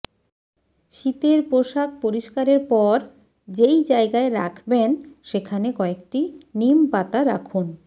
শীতের পোশাক পরিস্কারের পর যেই জায়গায় রাখবেন সেখানে কয়েকটি নিমপাতা রাখুন